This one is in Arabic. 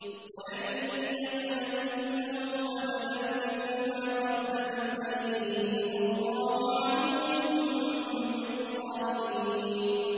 وَلَن يَتَمَنَّوْهُ أَبَدًا بِمَا قَدَّمَتْ أَيْدِيهِمْ ۗ وَاللَّهُ عَلِيمٌ بِالظَّالِمِينَ